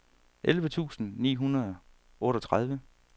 elleve tusind ni hundrede og otteogtredive